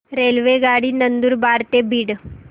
रेल्वेगाडी नंदुरबार ते बीड